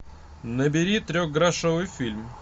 набери трехгрошовый фильм